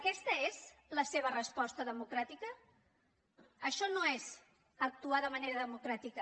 aquesta és la seva resposta democràtica això no és actuar de manera democràtica